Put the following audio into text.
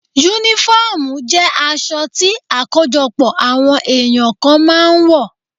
Únífọ́ọ̀mù jẹ́ aṣọ tí àkójọpọ̀ àwọn èyàn kan máa ń wọ̀